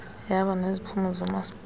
yaba neziphumo zoomasipala